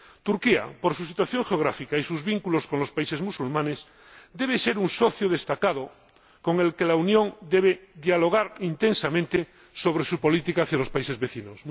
Turquía, por su situación geográfica y sus vínculos con los países musulmanes, debe ser un socio destacado con el que la Unión debe dialogar intensamente sobre su política hacia los países vecinos.